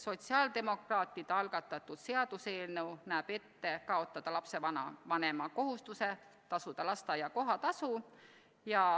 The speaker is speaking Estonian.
Sotsiaaldemokraatide algatatud seaduseelnõu näeb ette kaotada lapsevanema kohustuse tasuda lasteaia kohatasu.